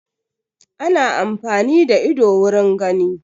Ana amfani da ido wurin gani